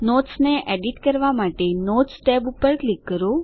નોટ્સને edit કરવા માટે notes tab પર ક્લિક કરો